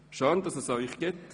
Schön, dass es Sie gibt.